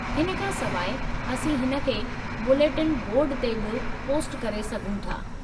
हिन खां सवाइ, असीं हिन खे बुलेटिन बोर्ड ते बि पोस्ट करे सघूं था।